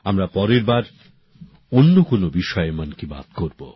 আমরা পরের বার অন্য কোন বিষয়ে মন কি বাত করব